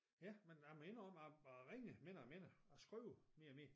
Ja men jeg må indrømme at jeg ringer mindre og mindre og skirver mere og mere